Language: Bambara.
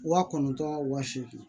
Waa kɔnɔntɔn wa seegin